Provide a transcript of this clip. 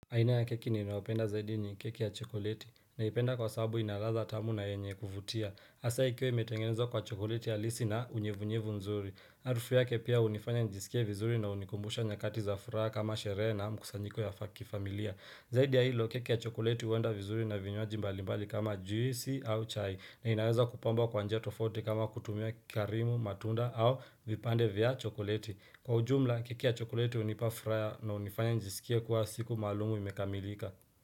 Aina ya keki ninaopenda zaidi ni keki ya chokoleti. Naipenda kwa sababu ina ladhaa tamu na yenye kufutia. Asa ikiwa imetengenezwa kwa chokoleti halisi na unyevunyevu nzuri. Harufu yake pia hunifanya nijisikie vizuri na hunikumbusha nyakati za furaha kama sherehe na mkusanyiko ya kifamilia. Zaidi ya hilo, keki ya chokoleti huenda vizuri na vinywaji mbalimbali kama juisi au chai na inaweza kupamba kwa njia tofauti kama kutumia karimu, matunda au vipande vya chokoleti. Kwa ujumla, keki ya chokoleti hunipa furaha na hunifanya nijisikie kuwa siku malumu imekamilika.